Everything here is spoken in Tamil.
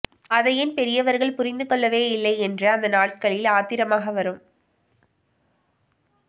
அதை ஏன் பெரியவர்கள் புரிந்து கொள்ளவேயில்லை என்று அந்த நாட்களில் ஆத்திரமாக வரும்